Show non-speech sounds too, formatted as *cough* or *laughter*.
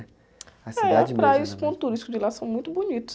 A cidade mesmo... *unintelligible* a praia e os pontos turísticos de lá são muito bonitos.